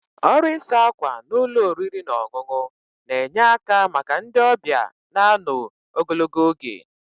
Ọrụ ịsa ákwà na ụlọ oriri na ọṅụṅụ na-enye aka maka ndị ọbịa na ano ogologo oge.